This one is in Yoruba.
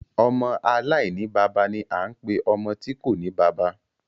Ọmọ aláìní bàbá ni a ń pe ọmọ tí kòní bàbá.